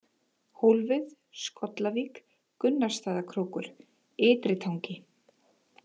Hólfið, Skollavík, Gunnarsstaðakrókur, Ytritangi